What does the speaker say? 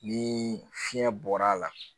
Ni fiɲɛ bɔra a la